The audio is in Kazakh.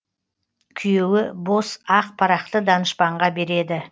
күйеуі бос ақ парақты данышпанға береді